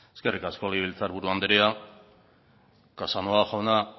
eskerrik asko legebiltzar buru andrea casanova jauna